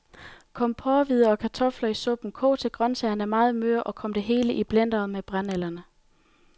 Kom porrehvider og kartofler i suppen, kog til grøntsagerne er meget møre, og kom det hele i blenderen med brændenælderne.